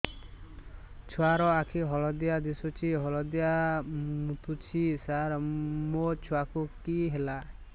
ଛୁଆ ର ଆଖି ହଳଦିଆ ଦିଶୁଛି ହଳଦିଆ ମୁତୁଛି ସାର ମୋ ଛୁଆକୁ କି ହେଲା